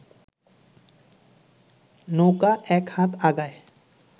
নৌকা এক হাত আগায়